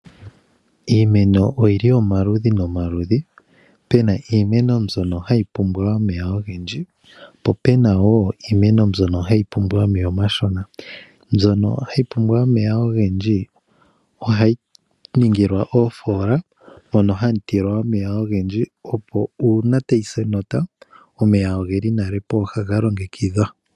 Iimeno oyi li omaludhi nomaludhi. Pu na iimeno mbyono hayi pumbwa omeya ogendji po pu na wo iimeno mbyono hayi pumbwa omeya omashona. Mbyono hayi pumbwa omeya ogendji ohayi ningilwa oofoola mono moondjila dhoofoola hamu tilwa omeya ogendji, opo uuna tayi si enota omeya ogeli nale pooha ga longekidhwa.